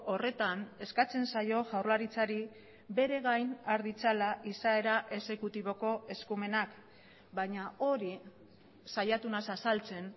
horretan eskatzen zaio jaurlaritzari bere gain har ditzala izaera exekutiboko eskumenak baina hori saiatu naiz azaltzen